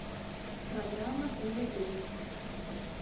программа тв три